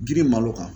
Girimalo kan